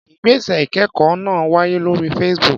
Ìgbésẹ̀ ìkẹ́kọ̀ọ́ náà wáyé lórí Facebook.